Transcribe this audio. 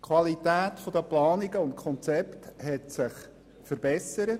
Die Qualität der Planungen und Konzepte hat sich verbessert.